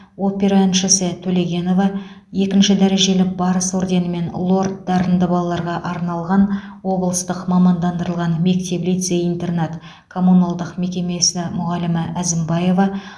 опера әншісі төлегенова екінші дәрежелі барыс орденімен лорд дарынды балаларға арналған облыстық мамандандырылған мектеп лицей интернат коммуналдық мекемесі мұғалімі әзімбаева